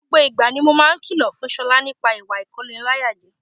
Gbogbo ìgbà ni mo máa ń kìlọ̀ fún Ṣọlá nípa ìwà ìkóniláyàjẹ